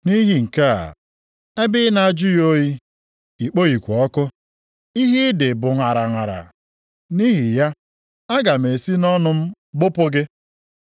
Nʼihi nke a, ebe ị na-ajụghị oyi, i kpoghịkwa ọkụ, ihe ị dị bụ ṅaraṅara. Nʼihi ya, aga m esi nʼọnụ m gbụpụ gị.